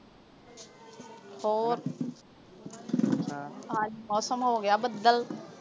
ਹੋਰ ਹਾਂ ਅੱਜ ਮੌਸਮ ਹੋ ਗਿਆ ਬੱਦਲ